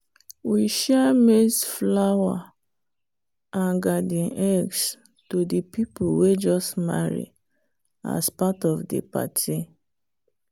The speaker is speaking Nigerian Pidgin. we share maize flour and garden eggs to the people way just marry as part of the party